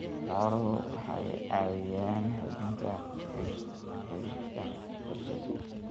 Xooluhu waxay caawiyaan xoojinta xidhiidhka bulshada.